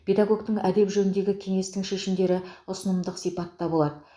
педагогтік әдеп жөніндегі кеңестің шешімдері ұсынымдық сипатта болады